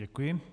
Děkuji.